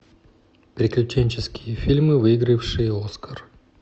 приключенческие фильмы выигравшие оскар